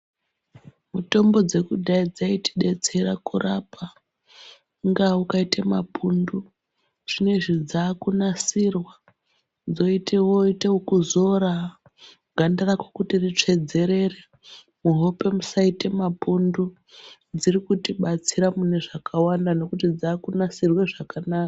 Mitombo dzekudhaya dzaitidetsera kurapa ngaa wakaita mapundu zvinezvi dzakunasirwa dzoite woite wekuzora ganda rako kuti ritsvedzerere muhope musaite mapundu dziri kuti batsira mune zvakawanda nekuti dzakunasirwa zvakanaka.